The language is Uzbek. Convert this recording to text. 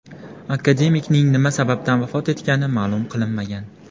Akademikning nima sababdan vafot etgani ma’lum qilinmagan.